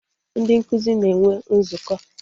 Ndị nkụzi na-enwe nzukọ